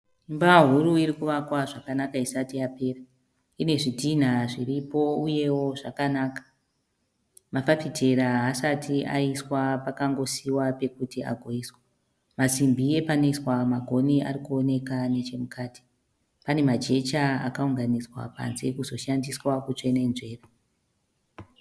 Imba huru irikuvakwa zvakanaka Isati yapera inezvidhinha zviripo uyewo zvakanaka mafafitera haasati aiswa pakangosiiwa pekuti agoiswa masimbi epanoiswa magoni arikuoneka nechemukati pane majecha akaunganidzwa panze kuzoshandiswa kukwenenzvera